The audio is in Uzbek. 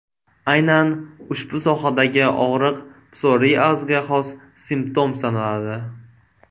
Aynan ushbu sohadagi og‘riq, psoriazga xos simptom sanaladi.